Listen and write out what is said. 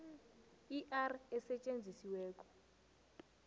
i r esetjenzisiweko